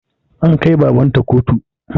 An kai baban ta kotu